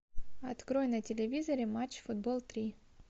открой на телевизоре матч футбол три